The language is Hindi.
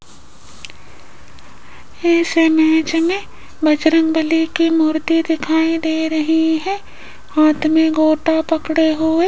इस इमेज में बजरंगबली की मूर्ति दिखाई दे रही है हाथ में गोटा पकड़े हुए --